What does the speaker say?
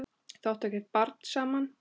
Þau áttu ekkert barn saman.